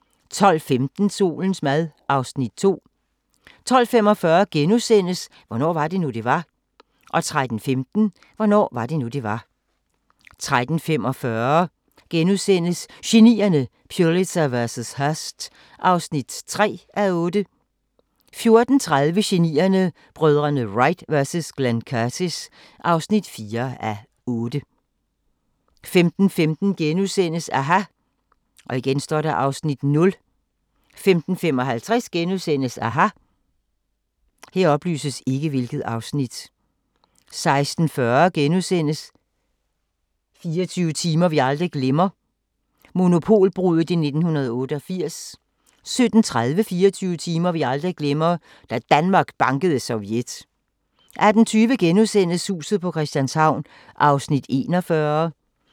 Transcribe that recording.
12:15: Solens mad (Afs. 2) 12:45: Hvornår var det nu, det var? * 13:15: Hvornår var det nu, det var? 13:45: Genierne: Pulitzer vs. Hearst (3:8)* 14:30: Genierne: Brødrene Wright vs Glenn Curtis (4:8) 15:15: aHA! (Afs. 0)* 15:55: aHA! * 16:40: 24 timer vi aldrig glemmer – Monopolbruddet i 1988 * 17:30: 24 timer vi aldrig glemmer – Da Danmark bankede Sovjet 18:20: Huset på Christianshavn (41:84)*